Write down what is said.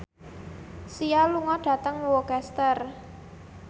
Sia lunga dhateng Worcester